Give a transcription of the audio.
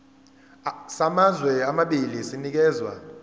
samazwe amabili sinikezwa